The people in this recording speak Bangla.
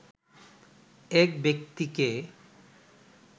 এক ব্যক্তিকে